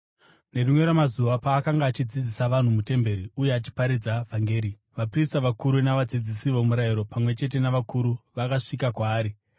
Nerimwe ramazuva paakanga achidzidzisa vanhu mutemberi uye achiparidza vhangeri, vaprista vakuru navadzidzisi vomurayiro, pamwe chete navakuru, vakasvika kwaari.